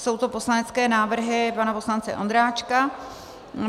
Jsou to poslanecké návrhy pana poslance Ondráčka.